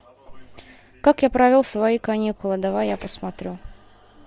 как я провел свои каникулы давай я посмотрю